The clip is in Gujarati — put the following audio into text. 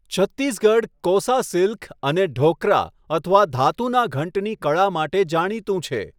છત્તીસગઢ 'કોસા સિલ્ક' અને 'ઢોક્રા' અથવા 'ધાતુના ઘંટની કળા' માટે જાણીતું છે.